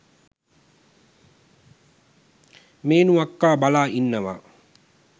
මේනු අක්කා බලා ඉන්නවා